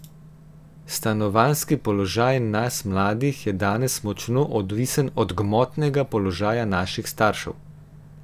Stanovanjski položaj nas mladih je danes močno odvisen od gmotnega položaja naših staršev.